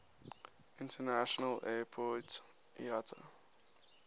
international airport iata